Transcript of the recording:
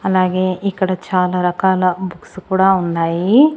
అలాగే ఇక్కడ చాలా రకాల బుక్స్ కూడా ఉన్నాయి.